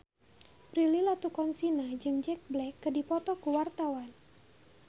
Prilly Latuconsina jeung Jack Black keur dipoto ku wartawan